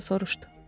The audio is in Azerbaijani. Xaç atası soruşdu.